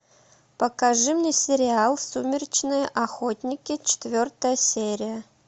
покажи мне сериал сумеречные охотники четвертая серия